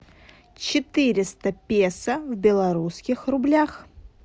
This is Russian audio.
четыреста песо в белорусских рублях